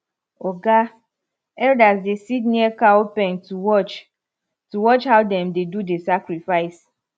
oga elders dey sit near cow pen to watch to watch how dem dey do the sacrifice